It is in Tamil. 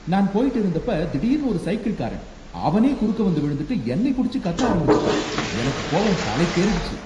நான் போயிட்டு இருந்தப்ப திடீர்னு ஒரு சைக்கிள்காரன் அவனே குறுக்க வந்து விழுந்துட்டு என்னை புடிச்சு கத்த ஆரம்பிச்சுட்டான், எனக்கு கோவம் தலைக்கேறிடுச்சு